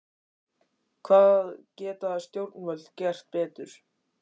Hvað geta stjórnvöld gert betur?